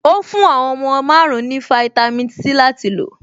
Ó fún àwọn ọmọ márùn-ún náà ní fáítámì Sí láti lò.